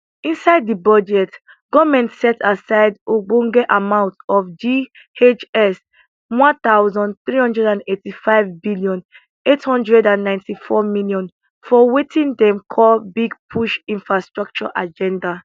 inside di budget goment set aside ogbonge amount of ghs one thousand hree hundred eighty five billion eight hundred and ninety four million for wetin dem call big push infrastructure agenda